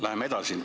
Läheme edasi.